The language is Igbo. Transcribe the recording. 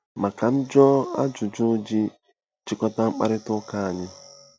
Ma ka m jụọ ajụjụ iji chịkọta mkparịta ụka anyị.